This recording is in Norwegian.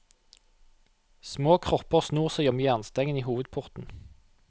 Små kropper snor seg om jernstengene i hovedporten.